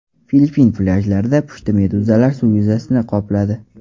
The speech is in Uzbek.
Filippin plyajlarida pushti meduzalar suv yuzasini qopladi .